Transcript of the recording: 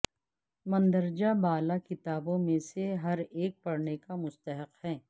مندرجہ بالا کتابوں میں سے ہر ایک پڑھنے کا مستحق ہے